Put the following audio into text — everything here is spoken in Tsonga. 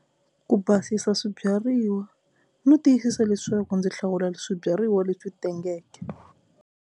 Ku basisa swibyariwa no tiyisisa leswaku ndzi hlawula swibyariwa leswi tengeke.